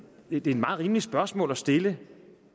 et meget rimeligt spørgsmål at stille